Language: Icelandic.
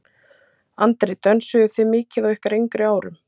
Andri: Dönsuðuð þið mikið á ykkar yngri árum?